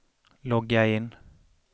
logga in